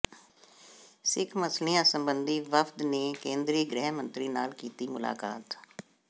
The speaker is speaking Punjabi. ਸਿੱਖ ਮਸਲਿਆਂ ਸਬੰਧੀ ਵਫ਼ਦ ਨੇ ਕੇਂਦਰੀ ਗ੍ਰਹਿ ਮੰਤਰੀ ਨਾਲ ਕੀਤੀ ਮੁਲਾਕਾਤ